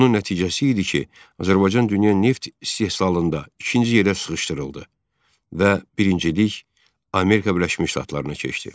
Bunun nəticəsi idi ki, Azərbaycan dünya neft istehsalında ikinci yerə sıxışdırıldı və birincilik Amerika Birləşmiş Ştatlarına keçdi.